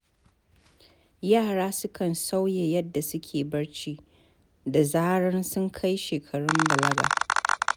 Yara sukan sauya yadda suke barci da zarar sun kai shekarun balaga.